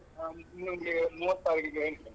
ನಾನು ನಿಂಗೆ ಮೂವತ್ತ್ ತಾರೀಖಿಗೆ ಹೇಳ್ತೇನೆ.